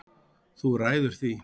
Þú ræður því.